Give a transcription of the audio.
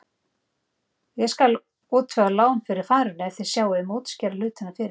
Ég skal útvega lán fyrir farinu ef þér sjáið um að útskýra hlutina fyrir þeim.